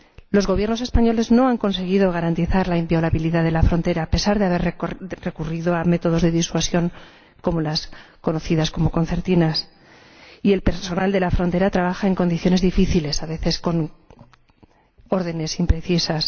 Los Gobiernos españoles no han conseguido garantizar la inviolabilidad de la frontera, a pesar de haber recurrido a métodos de disuasión —como las conocidas como concertinas— y el personal de la frontera trabaja en condiciones difíciles, a veces con órdenes imprecisas.